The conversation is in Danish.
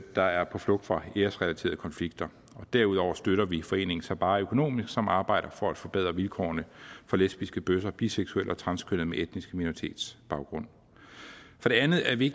der er på flugt fra æresrelaterede konflikter derudover støtter vi foreningen sabaah økonomisk som arbejder for at forbedre vilkårene for lesbiske bøsser biseksuelle og transkønnede med etnisk minoritetsbaggrund for det andet er vi